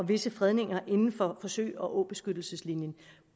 visse fredninger inden for sø og åbeskyttelseslinjen